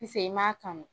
Pise i m'a kanu